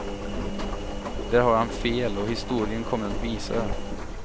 Där har han fel och historien kommer att visa det.